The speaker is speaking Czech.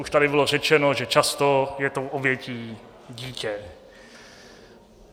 Už tady bylo řečeno, že často je tou obětí dítě.